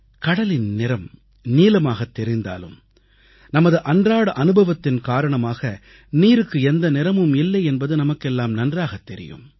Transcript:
கடலின் நிறம் நீலமாகத் தெரிந்தாலும் நமது அன்றாட அனுபவத்தின் காரணமாக நீருக்கு எந்த நிறமும் இல்லை என்பது நமக்கெல்லாம் நன்றாகத் தெரியும்